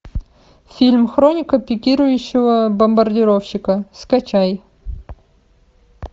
фильм хроника пикирующего бомбардировщика скачай